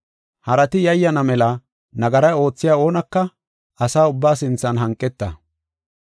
Harati yayyana mela nagara oothiya oonaka asa ubbaa sinthan hanqeta.